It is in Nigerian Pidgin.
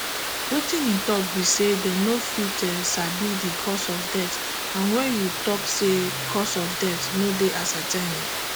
wetin e tok be say dem no fit sabi di cause of death and wen you tok say cause of death no dey ascetain e